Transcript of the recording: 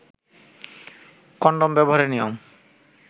condom ব্যবহারের নিয়ম